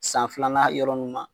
San filanan yɔrɔ nunnu ma